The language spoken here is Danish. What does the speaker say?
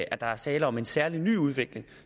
at der er tale om en særlig ny udvikling